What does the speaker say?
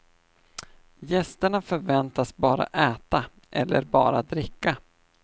Gästerna förväntas bara äta, eller bara dricka.